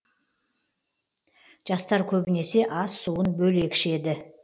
жастар көбінесе ас суын бөлек ішеді